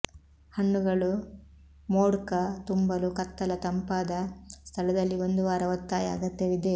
ಹಣ್ಣುಗಳು ವೋಡ್ಕಾ ತುಂಬಲು ಕತ್ತಲ ತಂಪಾದ ಸ್ಥಳದಲ್ಲಿ ಒಂದು ವಾರ ಒತ್ತಾಯ ಅಗತ್ಯವಿದೆ